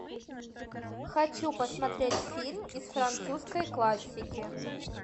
хочу посмотреть фильм из французской классики